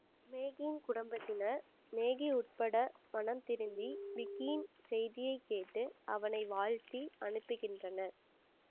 மேகியின் குடும்பத்தினர் மேகி உட்பட மனம்திருந்தி விக்கியின் செய்தியை கேட்டு அவனை வாழ்த்தி அனுப்புகின்றனர்